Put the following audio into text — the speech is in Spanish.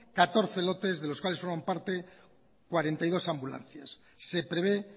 catorce lotes de los cuales forman parte cuarenta y dos ambulancias se prevé